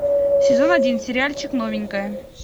сезон один сериальчик новенькая